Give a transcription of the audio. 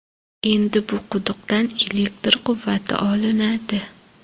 Endi bu quduqdan elektr quvvati olinadi.